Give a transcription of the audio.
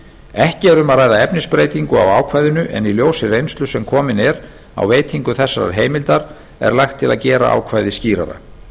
ekki er um að ræða efnisbreytingu á ákvæðinu en í ljósi reynslu sem komin er á veitingu þessarar heimildar er lagt til að gera ákvæðið skýrara